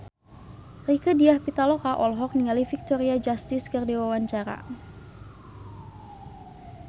Rieke Diah Pitaloka olohok ningali Victoria Justice keur diwawancara